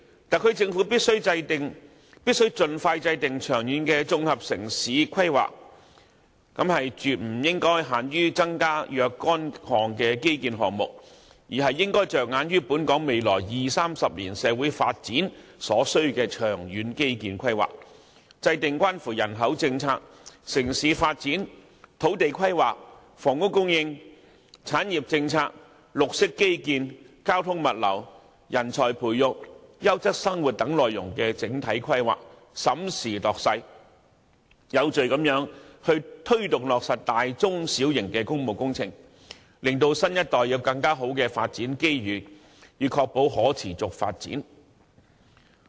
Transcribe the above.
特區政府必須盡快制訂長遠的綜合城市規劃，除增加基建項目外，亦應着眼本港未來二三十年社會發展所需的長遠基建規劃，制訂關乎人口政策、城市發展、土地規劃、房屋供應、產業政策、綠色基建、交通物流、人才培育、優質生活等範疇的整體規劃，審時度勢，有序推動落實大、中、小型工務工程，令新一代有更好的發展機遇，以確保可持續發展。